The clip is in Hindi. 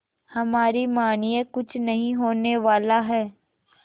हमारी मानिए कुछ नहीं होने वाला है